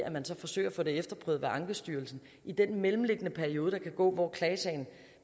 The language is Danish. og man så forsøger at få det efterprøvet ved ankestyrelsen i den mellemliggende periode der kan gå hvor klagesagen